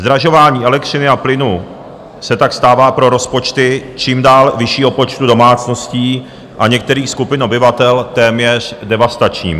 Zdražování elektřiny a plynu se tak stává pro rozpočty čím dál vyššího počtu domácností a některých skupin obyvatel téměř devastačním.